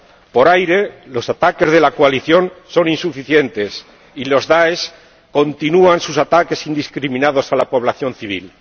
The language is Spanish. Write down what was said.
Por aire, los ataques de la coalición son insuficientes y el DAESH continúa sus ataques indiscriminados a la población civil.